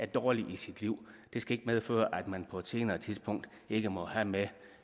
dårligt i sit liv det skal ikke medføre at man på et senere tidspunkt ikke må have med